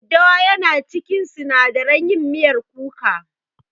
Daddawa yana cikin sinadaran yin miyar kuka.